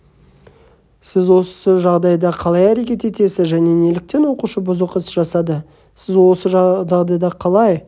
сіз осы жағдайда қалай әрекет етесіз және неліктен оқушы бұзық іс жасады сіз осы жағдайда қалай